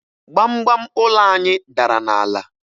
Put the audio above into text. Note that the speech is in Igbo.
Gbamgbam ụlọ anyị dara n'ala